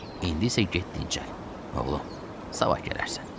İndi isə get dincləl, oğlum, sabah gələrsən.